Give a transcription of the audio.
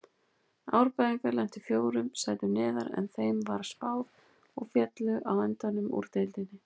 Árbæingar lentu fjórum sætum neðar en þeim var spáð og féllu á endanum úr deildinni.